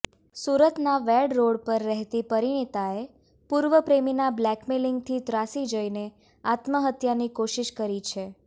સુરતના વેડ રોડ પર રહેતી પરિણીતાએ પૂર્વ પ્રેમીના બ્લેકમેઈલિંગથી ત્રાસી જઈને આત્મહત્યાની કોશિશ કરી છે